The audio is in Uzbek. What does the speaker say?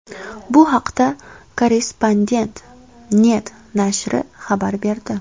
Bu haqda Korrespondent.net nashri xabar berdi .